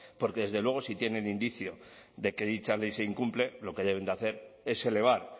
porque desde luego si tienen indicio de que dicha ley se incumple lo que deben hacer es elevar